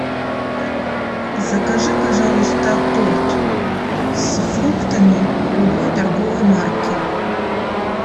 закажи пожалуйста торт с фруктами любой торговой марки